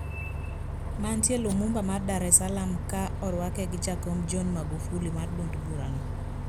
Mantie Lumumba Dar es Salaam ka orwake gi jakom John Magufuli mar duond burano